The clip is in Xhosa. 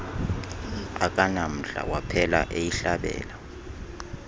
akanamdla waphela eyihlabela